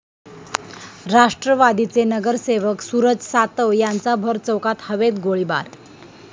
राष्ट्रवादीचे नगरसेवक सूरज सातव यांचा भरचौकात हवेत गोळीबार